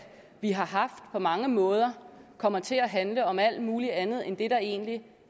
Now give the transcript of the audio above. vi har haft på mange måder kommer til at handle om alt muligt andet end det der egentlig